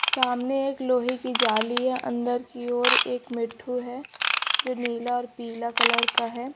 सामने एक लोहे की जाली है अंदर की ओर एक मिठू है जो नीला और पीला कलर का है।